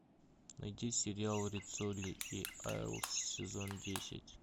найди сериал риццоли и айлс сезон десять